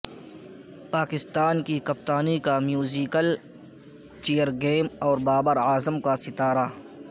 پاکستان کی کپتانی کا میوزیکل چیئر گیم اور بابر اعظم کا ستارہ